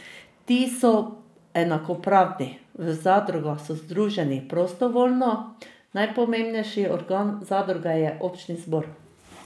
Ti so enakopravni, v zadrugah so združeni prostovoljno, najpomembnejši organ zadruge je občni zbor.